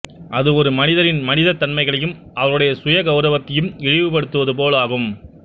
அது ஒரு மனிதரின் மனிதத் தன்மைகளையும் அவருடைய சுய கௌரவத்தையும் இழிவு படுத்துவது போல் ஆகும்